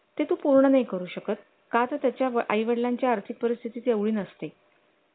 ते पूर्ण नाही करू शकत का त्याच्या आई वडिलांची आर्थिक परिस्थिती तेवढी नसते